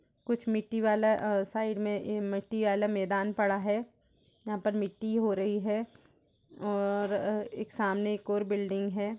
कुछ मिट्टी वाला अं-साइड में इ-मिट्टी आला मेदान पड़ा है जहाँं पर मिट्टी हो रही है और अह् एक सामने एक और बिल्डिंग है।